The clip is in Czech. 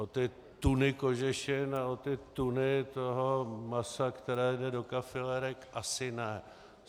O ty tuny kožešin a o ty tuny toho masa, které jde do kafilerek, asi ne.